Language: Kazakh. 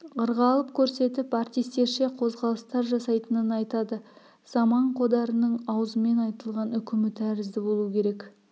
ырғалып көрсетіп артистерше қозғалыстар жасайтынын айтады заман қодарының аузымен айтылған үкімі тәрізді болу керек